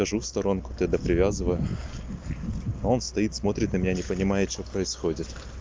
отхожу в сторонку тогда привязываю он стоит смотрит на меня не понимает что происходит